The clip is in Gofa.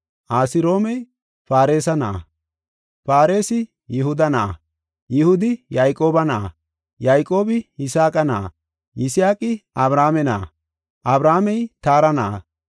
Asroomey Faaresa na7a, Faaresi Yihuda na7a, Yihudi Yayqooba na7a, Yayqoobi Yisaaqa na7a, Yisaaqi Abrahaame na7a, Abrahaamey Taara na7a,